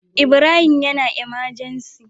Ibrahim yAna emergency